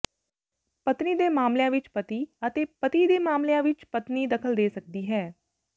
ਪਤਨੀ ਦੇ ਮਾਮਲੀਆਂ ਵਿੱਚ ਪਤੀ ਅਤੇ ਪਤੀ ਦੇ ਮਾਮਲੀਆਂ ਵਿੱਚ ਪਤਨੀ ਦਖਲ ਦੇ ਸਕਦੀ ਹੈ